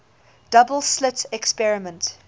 double slit experiment